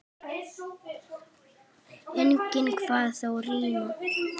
Enginn kvað þó rímu.